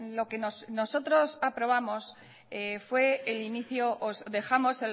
lo que nosotros aprobamos fue el inicio os dejamos